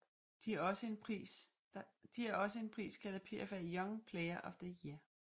De er også en pris kaldet PFA Young Player of the Year